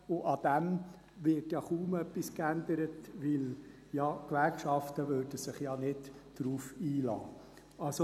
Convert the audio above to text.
Daran wird ja kaum etwas geändert, weil die Gewerkschaften sich ja nicht darauf einlassen würden.